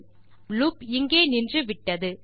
ஆகவே நம் லூப் இங்கே நின்றுவிட்டது